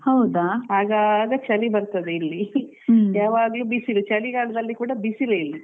ಆಗಾಗ ಚಳಿ ಬರ್ತದೆ ಇಲ್ಲಿ ಯಾವಾಗ್ಲೂ ಬಿಸಿಲು ಚಳಿಗಾಲದಲ್ಲಿ ಬಿಸಿಲೇ ಇಲ್ಲಿ.